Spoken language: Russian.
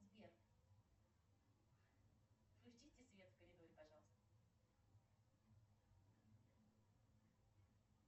сбер включите свет в коридоре пожалуйста